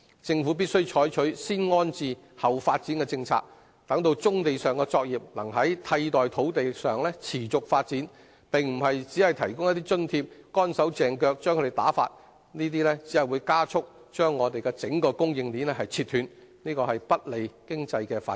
政府必須採取"先安置，後發展"的政策，讓棕地上的作業能在替代土地上持續發展，而並非只提供一些津貼，"乾手淨腳"地把其打發，這只會加速割斷整個供應鏈，不利經濟發展。